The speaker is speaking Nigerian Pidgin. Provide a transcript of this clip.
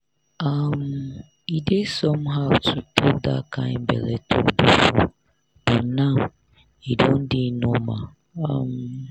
um e dey somehow to talk that kind belle talk before but now e don dey normal. um